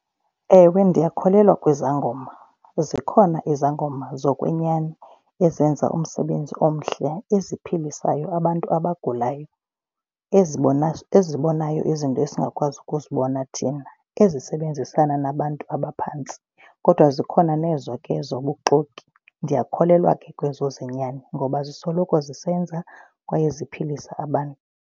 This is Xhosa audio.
Ewe, ndiyakholelwa kwizangoma. Zikhona izangoma zokwenyani ezenza umsebenzi omhle eziphilisayo abantu abagulayo, ezibonayo izinto esingakwazi ukuzibona thina, ezisebenzisana nabantu abaphantsi. Kodwa zikhona nezo ke zobuxoki. Ndiyakholelwa ke kwezo zenyani ngoba zisoloko zisenza kwaye ziphilisa abantu.